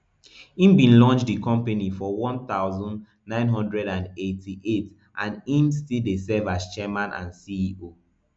im bin launch di company for one thousand, nine hundred and eighty-eight and im still dey serve as chairman and ceo